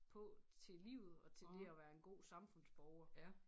På til livet og til det at være en god samfundsborger